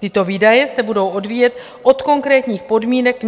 Tyto výdaje se budou odvíjet od konkrétních podmínek